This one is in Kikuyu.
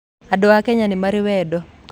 Andũ a Kenya nimarĩ wendo